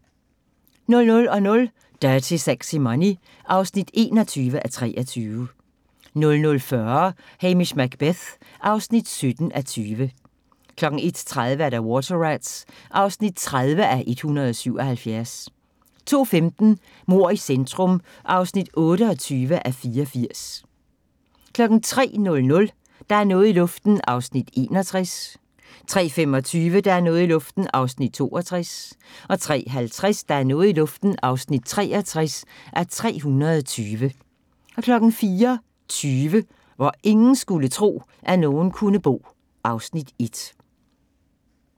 00:00: Dirty Sexy Money (21:23) 00:40: Hamish Macbeth (17:20) 01:30: Water Rats (30:177) 02:15: Mord i centrum (28:84) 03:00: Der er noget i luften (61:320) 03:25: Der er noget i luften (62:320) 03:50: Der er noget i luften (63:320) 04:20: Hvor ingen skulle tro, at nogen kunne bo (Afs. 1)